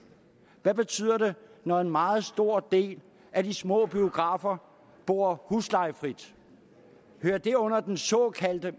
hvad betyder det når en meget stor del af de små biografer bor huslejefrit hører det under den såkaldte